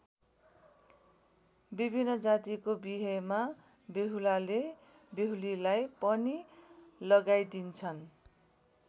विभिन्न जातिको बिहेमा बेहुलाले बेहुलीलाई पनि लगाइदिन्छन्।